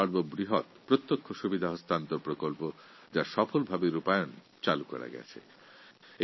পহল নামে পরিচিত এই প্রকল্প খুব সফল হয়েছে